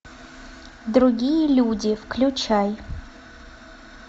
другие люди включай